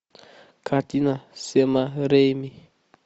картина сэма рэйми